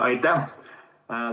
Aitäh!